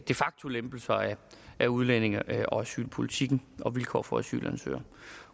de facto lempelser af udlændinge og asylpolitikken og vilkår for asylansøgere